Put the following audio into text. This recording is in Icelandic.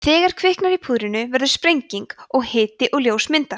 þegar kviknar í púðrinu verður sprenging og hiti og ljós myndast